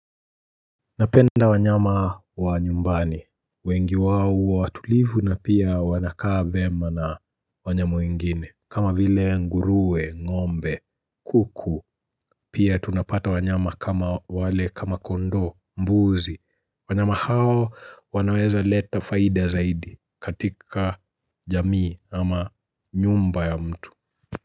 Napenda wanyama wa nyumbani. Wengi wao huwa watulivu na pia wanakaa vyema na wanyama wengine kama vile nguruwe, ng'ombe, kuku Pia tunapata wanyama kama wale kama kondoo, mbuzi wanyama hao wanaweza leta faida zaidi katika jamii ama nyumba ya mtu.